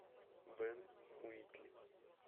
бен уитли